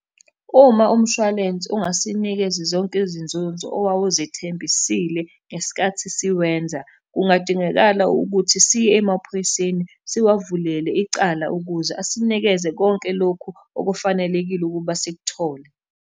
Uma umshwalense ungasinikezi zonke izinzuzo owawuzethembisile ngesikhathi siwenza, kungadingakala ukuthi siye emaphoyiseni siwavulele icala, ukuze asinikeze konke lokhu okufanelekile ukuba sikuthole.